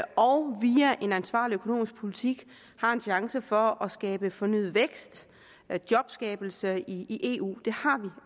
og via en ansvarlig økonomisk politik har en chance for at skabe fornyet vækst jobskabelse i eu det har vi